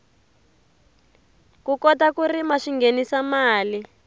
ku kota ku rima swinghenisa mali